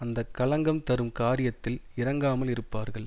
அந்த களங்கம் தரும் காரியத்தில் இறங்காமல் இருப்பார்கள்